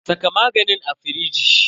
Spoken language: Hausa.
Saka maganin a firiji.